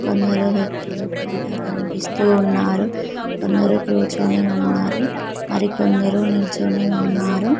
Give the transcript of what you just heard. కొందరు వ్యక్తులు కూడా కనిపిస్తూ ఉన్నారు కొందరు కూర్చొని ఉన్నారు మరి కొందరు నిల్చొని ఉన్నారు.